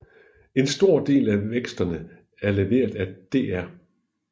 En stor del af væksterne er leveret af dr